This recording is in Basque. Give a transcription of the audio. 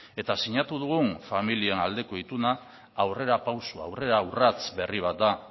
eta sinatu dugun familiaren aldeko ituna aurrerapauso aurrera urrats berri bat da